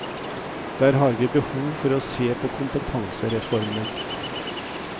Der har vi behov for å se på kompetansereformer.